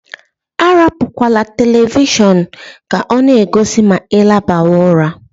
Arapukwala televishọọnu ka ọ na-egosi ma I labawa ụra.